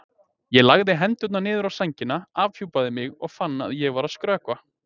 Ég lagði hendurnar niður á sængina, afhjúpaði mig, fann að ég var að skrökva.